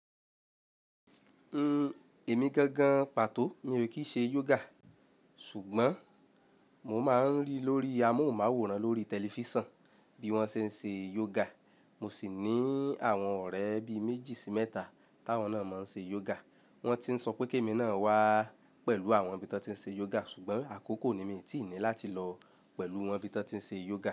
N, èmi gangan pàtó mi ò kí ṣe yoga. Sugbọn mo máa ń rí lórí amóhùnmáwòrán lórí tẹlifísàn bí wọ́n ṣe ń ṣe yoga, mo sì ní àwọn ọ̀rẹ́ bí méjì sí mẹ́ta táwọn náà máa ń ṣe yoga. Wọ́n ti ń sọ pé kí èmi náà wá pẹ̀lú àwọn nibí wọ́n ti ń ṣe yoga ṣùgbọ́n àkókò ni mi ò tí ì ní láti lọ pẹ̀lú wọn nibí wọ́n ti ń ṣe yoga.